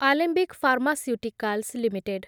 Alembic pharmaceuticals limited